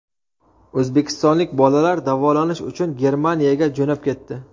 O‘zbekistonlik bolalar davolanish uchun Germaniyaga jo‘nab ketdi.